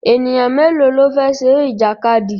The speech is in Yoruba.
Ènìyàn mélòó ló fẹ́ ṣeré ìjàkadì?